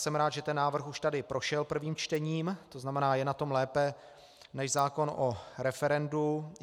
Jsem rád, že ten návrh už tady prošel prvním čtením, to znamená, je na tom lépe než zákon o referendu.